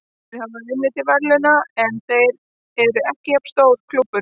Þeir hafa unnið til verðlauna, en þeir eru ekki jafn stór klúbbur.